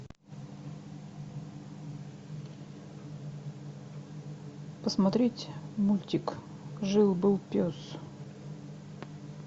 посмотреть мультик жил был пес